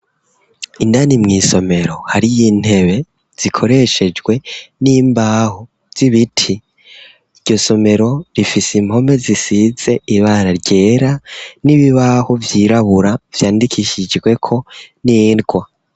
Indani mw'isomero, hariyo intebe zikoreshejwe n'imbaho z'ibiti, iryo somero rifise impome zisize ibara ryera, n'ibibaho vyirabura vyandikisijweko n'ingwa.